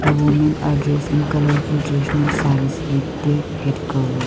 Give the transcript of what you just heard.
women are dressed in colourful traditional sarees with their head covered.